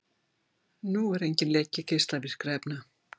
Nú er enginn leki geislavirkra efna